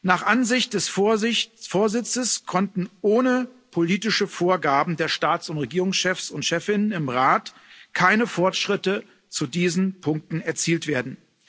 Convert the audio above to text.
Nach Ansicht des Vorsitzes konnten ohne politische Vorgaben der Staats und Regierungschefs und chefinnen im Rat keine Fortschritte zu diesen Punkten erzielt werden.